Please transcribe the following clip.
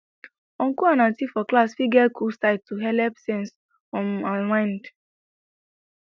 uncle and auntie for class fit get cool side to helep sense um and mind